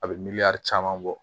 A bɛ miiri caman bɔ